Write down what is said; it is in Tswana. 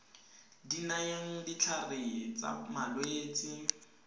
di nayang ditlhare tsa malwetse